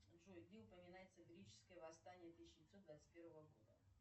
джой где упоминается греческое восстание тысяча девятьсот двадцать первого года